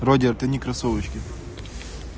вроде это не кроссовочки